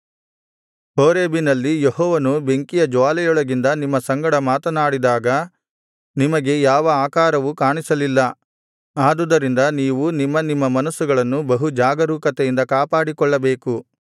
ಹೋರೇಬಿನಲ್ಲಿ ಯೆಹೋವನು ಬೆಂಕಿಯ ಜ್ವಾಲೆಯೊಳಗಿಂದ ನಿಮ್ಮ ಸಂಗಡ ಮಾತನಾಡಿದಾಗ ನಿಮಗೆ ಯಾವ ಆಕಾರವೂ ಕಾಣಿಸಲಿಲ್ಲ ಆದುದರಿಂದ ನೀವು ನಿಮ್ಮ ನಿಮ್ಮ ಮನಸ್ಸುಗಳನ್ನು ಬಹು ಜಾಗರೂಕತೆಯಿಂದ ಕಾಪಾಡಿಕೊಳ್ಳಬೇಕು